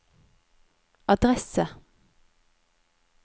adresse